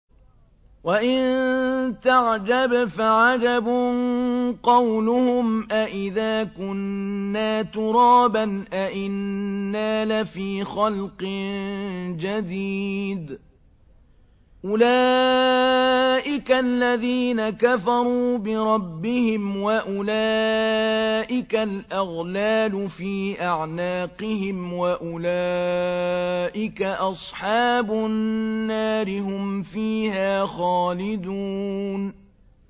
۞ وَإِن تَعْجَبْ فَعَجَبٌ قَوْلُهُمْ أَإِذَا كُنَّا تُرَابًا أَإِنَّا لَفِي خَلْقٍ جَدِيدٍ ۗ أُولَٰئِكَ الَّذِينَ كَفَرُوا بِرَبِّهِمْ ۖ وَأُولَٰئِكَ الْأَغْلَالُ فِي أَعْنَاقِهِمْ ۖ وَأُولَٰئِكَ أَصْحَابُ النَّارِ ۖ هُمْ فِيهَا خَالِدُونَ